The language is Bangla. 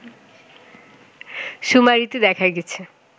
শুমারিতে দেখা গেছে